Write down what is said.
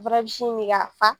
Fana bi sin mi ka fa.